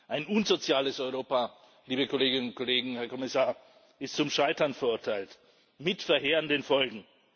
Ein unsoziales Europa, liebe Kolleginnen und Kollegen, Herr Kommissar, ist zum Scheitern verurteilt mit verheerenden Folgen.